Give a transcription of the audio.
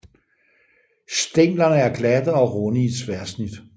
Stænglerne er glatte og runde i tværsnit